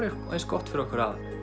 eins gott fyrir okkur að